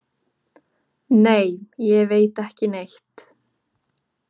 Nei, ég veit ekki neitt.